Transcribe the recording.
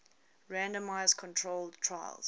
randomized controlled trials